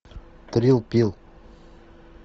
трил пил